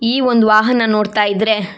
ಈ ಒಂದು ವಾಹನ ನೋಡ್ತಾ ಇದ್ರೆ.